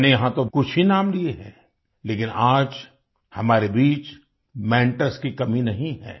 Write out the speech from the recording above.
मैंने यहाँ तो कुछ ही नाम लिए हैं लेकिन आज हमारे बीच मेंटर्स की कमी नहीं है